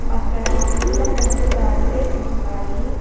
అక్కడ నీలం రంగు బారిగేట్స్ ఉన్నాయి.